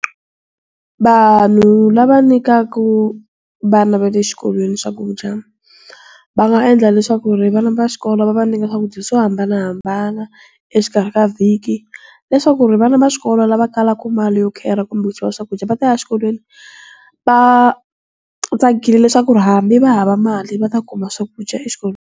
Vanhu lava nyikaka vana va le xikolweni swakudya, va nga endla leswaku ri vana va xikolo va va nyika swakudya swo hambanahambana, exikarhi ka vhiki. Leswaku ri vana va swikolo lava kalaka mali yo khera kumbe yo xava swakudya, va ta ya xikolweni, va, tsakile leswaku ri hambi va hava mali va ta kuma swakudya exikolweni.